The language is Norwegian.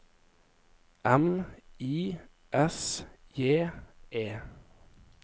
M I S J E